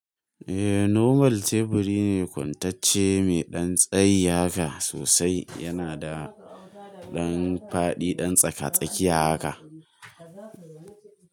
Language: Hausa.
Eh, normal teburi ne kwantacce me dan tsayi haka sosai. Yana da ɗan faɗi, ɗan tsaka-tsakiya haka.